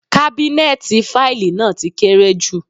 Kábínẹ́ẹ̀tì fáìlì náà ti kéré jù.